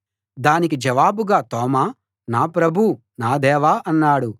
దానికి జవాబుగా తోమా నా ప్రభూ నా దేవా అన్నాడు